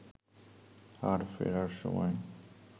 আর ফেরার সময়